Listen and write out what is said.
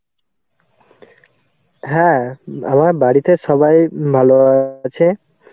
হ্যাঁ আমার বাড়িতে সবাই ভালো আছে.